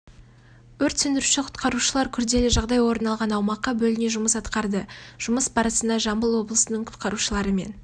өрт сөндіруші құтқарушылар күрделі жағдай орын алған аумаққа бөліне жұмыс атқарды жұмыс барысында жамбыл облысының құқарушыларымен